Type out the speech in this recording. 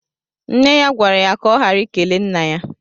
Nne ya gwara ya kà ọ ghara ikele Nna ya.